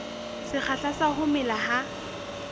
sekgahla sa ho mela ha